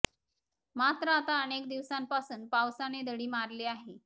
मात्र आता अनेक दिवसांपासून पावसाने धडी मारली आहे